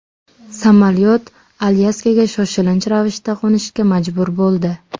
Samolyot Alyaskaga shoshilinch ravishda qo‘nishga majbur bo‘ldi.